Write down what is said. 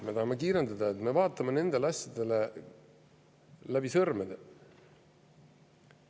Me tahame kiirendada ja vaatame nendele asjadele läbi sõrmede.